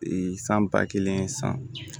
san ba kelen san